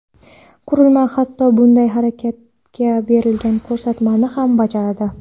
Qurilma hatto bunday harakatga berilgan ko‘rsatmani ham bajaradi.